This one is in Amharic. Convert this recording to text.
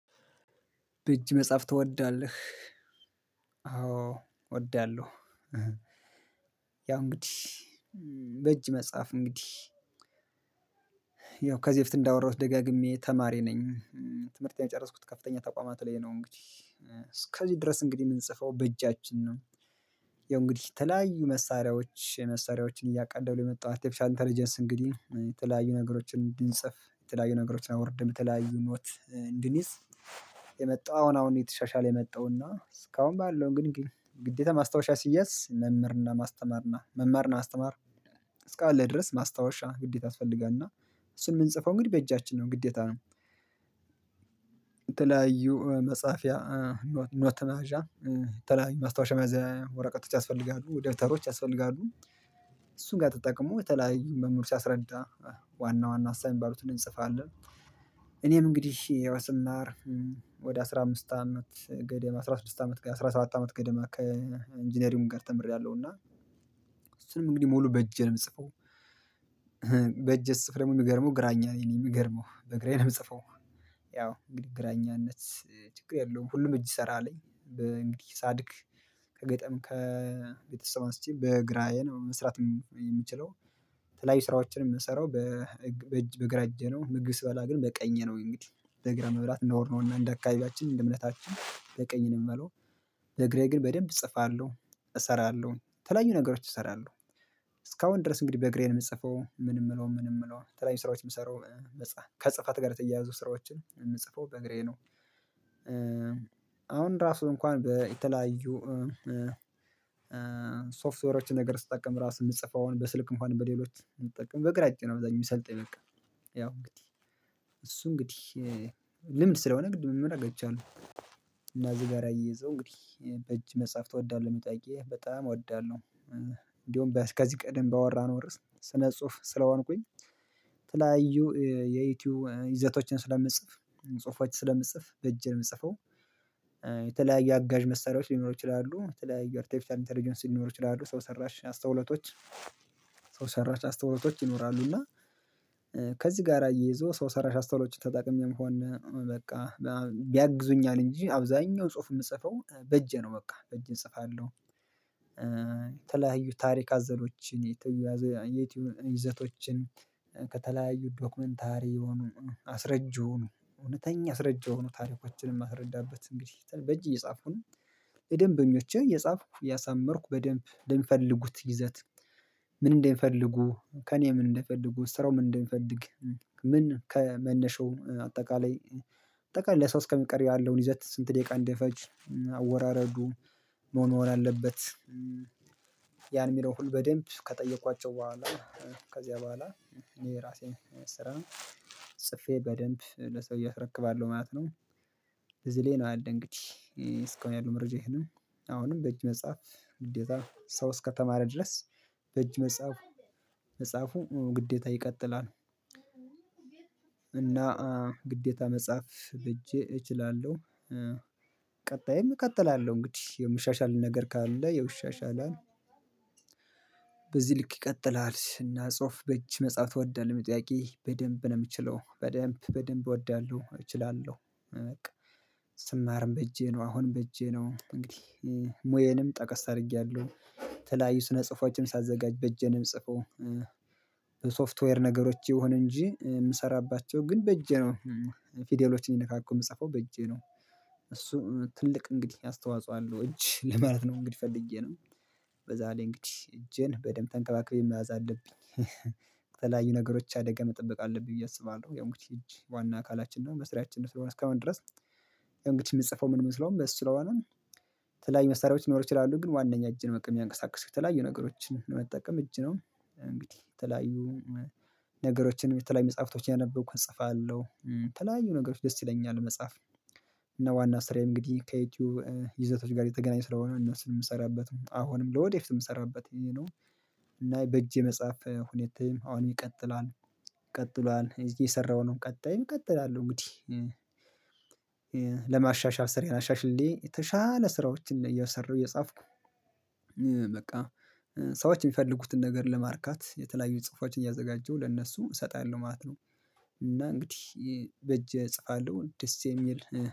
በእጅ መጻፍ ትወዳለህ? አዎ እወዳለሁ። ያው እንግዲህ በእጅ መጻፍ እንግዲህ። ያው ከዚህ በፊት እንዳወራሁት ደጋግሜ ተማሪ ነኝ ትምህርቴን የጨረስኩት ከፍተኛ ተቋማት ላይ ነው። እንግዲህ እስከዚህ ድረስ እንግዲህ የምንጽፈው በእጃችን ነው። ያው እንግዲህ የተለያዩ መሳሪያዎች መሳሪያዎችን እያቀለለው የመጣው አርቴፊሻል ኢንተለጀንስ እንግዲህ የተለያዩ ነገሮችን እንድንጽፍ የተለያዩ ነገሮችን አውርድን የተለያዩ ኖት እንድንይዝ። የመጣው አሁን አሁን እየተሻሻለ የመጣው እና እስካሁን ባለው ግን ግዴታ ማስታወሻ ሲያዝ መምህርና ማስተማርና መማር እና አስተማር እስካለ ድረስ ማስታወሻ ግዴታ ያስፈልጋልና። እሱን የምንጽፈው እንግዲህ በእጃችን ነው ግዴታ ነው። መጽሐፊያ ኖት መያዣ የተለያዩ ማስታወሻ መያዝ ወረቀቶች ያስፈልጋሉ ደብተሮች ያስፈልጋሉ። እሱን ጋር ተጠቅሞ የተለያዩ መምህር ሲያስረዳ ዋና ዋና ሀሳብ የሚባሉትን እንጽፋለን። እኔም እንግዲህ ያው ስማር ወደ አስራ አምስት አመት ገደማ አስራ ስድስት አመት አስራ ሰራት አመት ገደማ ከኢንጂነሪግ ጋር ተምሬያለሁ እና። እሱንም እንግዲህ ሙሉ በእጄ ነው የምጽፈው። በእጄ ስጽፍ ደግሞ የሚገርመው ግራኛ ነኝ የሚገርመው በግራዬ ነው የምጽፈው። ያው እንግዲህ ግራኛነት ችግር የለውም ሁሉም እጅ ይሰራልኝ። በእንግዲህ ሳድግ ከገጠም ከቤተሰብ አንስቼ በግራዬ መስራት የምችለው። የተለያዩ ስራዎችንም የምሰራው። በእጅ በግራ እጄ ነው ምግብ ስበላ ግን በቀኜ ነው እንግዲህ በግራ መብላት ነውር ነውና እንደ አካባቢያችን እንደ እምነታችን በቀኝ ነው የምበላው። በግራዬ ግን በደንብ እጽፋለሁ እሰራለሁ የተለያዩ ነገሮች እሰራለሁ። እስካሁን ድረስ እንግዲህ በግራዬ ነው የምጽፈው ምንም የምለው ምንም የምለው የተለያዩ ስራዎች የምሰራው ከጽህፈት ጋር የተያያዙ ስራዎችን የምጽፈው በግራዬ ነው። አሁን ራሱ እንኳን የተለያዩ ሶፍትዌሮችን ነገር ስትጠቀም ራሱ የምጽፈውን በስልክም ሆነ በሌሎች የምጠቀም በግራ እጄ ነው አብዛኛው የሚሰልጠኝ በቃ። ያው እንግዲህ እሱ እንግዲህ ልምድ ስለሆነ ግድ መመላት ገቻለሁ። እዚህ ጋር አየው እንግዲህ በእጅ መጽሐፍ ትወዳለህ መጣቂያ በጣም እወዳለሁ። እንዲሁም እስከዚህ ቀደም ባወራነው ርዕስ ስነ ጽሁፍ ስለዋንኩኝ ተለያዩ የዩቲዩብ ይዘቶችን ስለምትጽፍ ጽሁፎችን ስለምትጽፍ በእጄ ነው ለምጽፈው። የተለያየ አጋዥ መሳሪያዎች ሊኖሩ ይችላሉ የተለያየ አርቴፊሻል ኢንተርጀንስ ሊኖሩ ይችላሉ ሰው ሰራሽ አስተውለቶች። ሰው ሰራሽ አስተውለቶች ይኖራሉና እና ከዚህ ጋር አይዞ ሰው ሰራሽ አስተዋሎችን ተጠቅሜም ሆነ በቃ ያግዙኛል እንጂ አብዛኛው ጽሁፍ የምጽፈው በእጄ ነው በቃ በእጄ እጽፋለሁ። የተለያዩ ታሪክ አዘሎችን የተያዙ የዩቲዩብ ይዘቶችን ከተለያዩ ዶክመንታሪ የሆኑ አስረጂ ሆኑ እውነተኛ አስረጂ የሆኑ ታሪኮችን የማስረዳበት እንግዲህ በእጅ እየጻፍኩን። ደንበኞችህ የጻፍኩ ያሳመርኩ በደንብ ለሚፈልጉት ይዘት። ምን እንደሚፈልጉ ከእኔ ምን እንደፈልጉ ስራው ምን እንደሚፈልግ ምን ከመነሻው አጠቃላይ አጠቃላይ ለሰው እስከ ሚቀርብ ያለውን ይዘት ስንት ደቂቃ እንደፈጅ። አወራረዱ ምን መሆን አለበት። ያን የሚለው ሁሉ በደንብ ከጠየኳቸው በኋላ ከዚያ በኋላ የራሴን ስራ ጽፌ በደንብ ለሰውዬ አስረክባለሁ ማለት ነው። ብዙ ላይ ነው ያለኝ እንግዲህ እስካሁን ያሉ መረጃ ይሄ ነው። አሁንም በእጅ መጽሐፍ ግዴታ ሰው እስከተማረ ድረስ በእጅ መጽሐፉ መጽሐፉ ግዴታ ይቀጥላል። እና ግዴታ መጻፍ በእጄ እችላለሁ። ቀጣይም እቀጥላለሁ እንግዲህ የምሻሻል ነገር ካለ ያው ይሻሻላል። በዚህ ልክ ይቀጥላል እና ጽሁፍ በእጅ መጽሐፍ ትወዳለህ ለሚለው ጥያቄ በደንብ ነው የምችለው በደንብ በደንብ እወዳለሁ እችላለሁ። ስማርም በእጄ ነው አሁንም በእጄ ነው እንግዲህ ሙዬንም ጠቀስ አድርጌያለሁ። ተለያዩ ስነ ጽፏችንም ሳዘጋጅ በእጄንም ጽፈው። በሶፍትዌር ነገሮች ይሁን እንጂ የምሰራባቸው ግን በእጄ ነው። ፊደሎችን የነካኩ የምጽፈው በእጄ ነው። ትልቅ እንግዲህ አስተዋጽኦ አለው እጅ ለማለት ነው እንግዲህ ፈልጌ ነው። በዛ ላይ እንግዲህ እጄን በደንብ ተንቀባቅቤ መዋዝ አለብኝ ተለያዩ ነገሮች አደጋ መጠበቅ አለብኝ ብዬ አስባለሁ ያው እንግዲህ እጂ ዋና አካላችን ነው በስራያችን ስለሆነ እስከመን ድረስ። ያው እንግዲህ የምጽፈው ምንስለውም በሱ ለስሆነ። የተለያይ መሳሪያዎች ሊኖሩ ይችላሉ ግን ዋናኛ እጅ ነው የሚያንቀሳቅሱት የተለያዩ ነገሮችን ለመጠቀም እጅ ነው። እንግዲህ የተለያዩ ነገሮችን የተለያዩ መጽሐፍቶችን ያነበብኩን እጽፋለሁ ተለያዩ ነገሮች ደስ ደስ ይለኛል መጻፍ። እና ዋና ስራዬ እንግዲህ ከዩቲዩብ ይዘቶች ጋር የተገናኘ ስራ ሆኖ እነሱን የምሰራበት አሁንም ለወደፊትም የምሰራበት እና በእጄ መጽሐፍ ሁኔታ አሁን ይቀጥላል። ይቀጥሏል እዚህ የሰራው ነው ቀጣይ እቀጥላለሁ እንግዲህ። ስራየን አሻሽሌ የተሻለ ስራዎችን እየሰራሁ እየጻፍኩ። በቃ ሰዎች የሚፈልጉትን ነገር ለማርካት የተለያዩ ጽሁፎችን እያዘጋጀሁ ለእነሱ እሰጣለሁ ማለት ነው። እና እንግዲህ በእጅ እጽፋለሁ ደስ የሚል